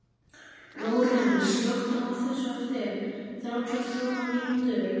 Lórens, slökktu á þessu eftir þrjátíu og fjórar mínútur.